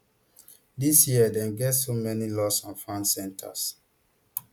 dis year dem get so many lostandfound centres